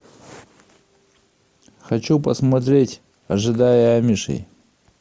хочу посмотреть ожидая амишей